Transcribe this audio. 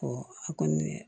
a kɔni